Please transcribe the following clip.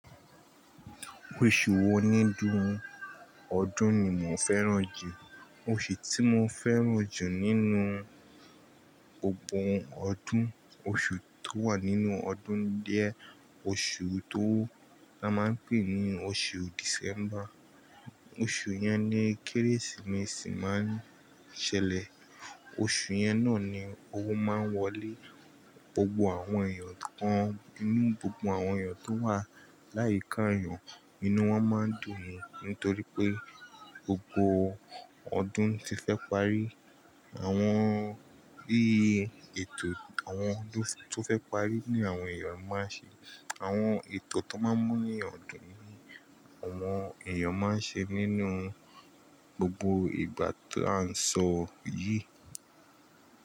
Oṣù wo nínú ọdún ni mo fẹ́ràn jù? Oṣù tí mo fẹ́ràn jù nínú gbogbo ọdún, oṣù tó wà nínú ọdún díẹ̀, oṣù tó máa ń pè ní oṣù December. Oṣù yẹn ni Kérésìmesì máa ń ṣẹlẹ̀. Oṣù yẹn náà ni owó máa ń wọlé gbogbo àwọn èèyàn kan nínú gbogbo àwọn èèyàn tó wà láì kan èèyàn, inú wọn máa ń dùn nítorí pé gbogbo ọdún ti fẹ́ parí. Àwọn bí ètò àwọn tó fẹ́ parí ni àwọn èèyàn máa ń ṣe. Àwọn ètò tó máa ń mu inu eeyan dùn ni àwọn èèyàn máa ń ṣe nínú gbogbo ìgbà ti à ń sọ yìí.